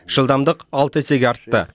жылдамдық алты есеге артты